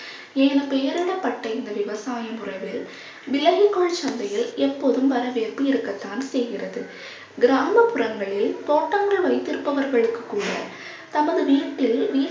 ஏன பெயரான இந்த விவசாயம் முறைகளில் விலங்குகோல் சந்தையில் எப்போதும் வரவேற்பு இருக்கத்தான் செய்கிறது. கிராமப்புறங்களில் தோட்டங்கள் வைத்திருப்பவர்களுக்கு கூட தமது வீட்டில்